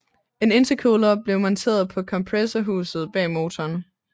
En intercooler blev monteret på kompressorhuset bag motoren